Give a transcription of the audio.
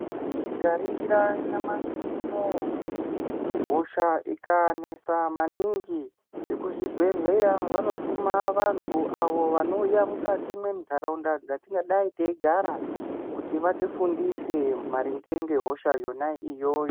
Tikaningira nyamashi unou hosha ikanesa maningi vekuzvibhehleya vanotuma vantu avo vanouya mukati mendaraunda dzatinenge tiri dzatingadai teigara kuti vatifundise maringe nehosha yona iyoyo.